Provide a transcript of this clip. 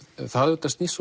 það snýst